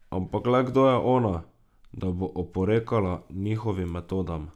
Ampak le kdo je ona, da bo oporekala njihovim metodam?